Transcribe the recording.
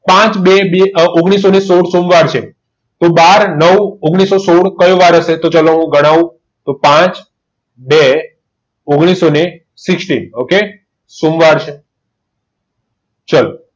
પાચ બે ઓગણીસો ને સોમવાર છે તો બાર નવ ઓગણીસો સોડ તો કયો વાર હશે તો ચલો હું તમને ગનાવ તો પાચ બે ઓગણીસો ને sixteen ઓકે સોમવાર છે ચલો